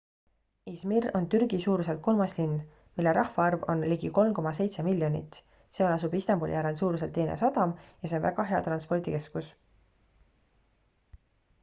izmir on türgi suuruselt kolmas linn mille rahvaarv on ligi 3,7 miljonit seal asub istanbuli järel suuruselt teine sadam ja see on väga hea transpordikeskus